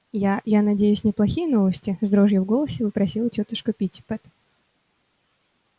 я я надеюсь неплохие новости с дрожью в голосе вопросила тётушка питтипэт